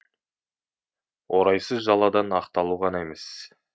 орайсыз жаладан ақталу ғана емес